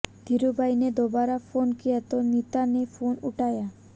धीरूभाई ने दोबारा फोन किया तो नीता ने फोन उठाया